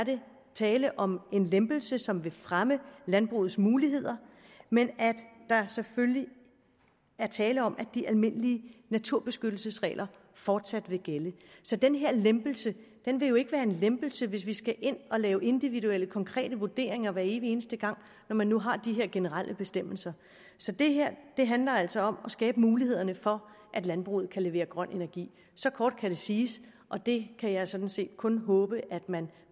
tale om en lempelse som vil fremme landbrugets muligheder men der er selvfølgelig tale om at de almindelige naturbeskyttelsesregler fortsat vil gælde så den her lempelse vil jo ikke være en lempelse hvis vi skal ind at lave individuelle konkrete vurderinger hver evig eneste gang når man nu har de her generelle bestemmelser så det her handler altså om at skabe mulighederne for at landbruget kan levere grøn energi så kort kan det siges og det kan jeg sådan set kun håbe at man